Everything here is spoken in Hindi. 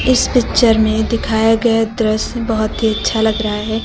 इस पिक्चर में दिखाया गया दृश्य बहोत ही अच्छा लग रहा है।